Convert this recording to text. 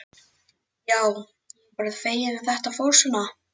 Já, ég er bara feginn að þetta fór svona.